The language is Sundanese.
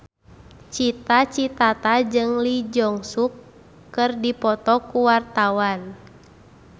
Cita Citata jeung Lee Jeong Suk keur dipoto ku wartawan